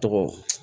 Tɔgɔ